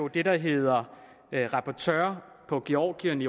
det der hedder rapporteur på georgien i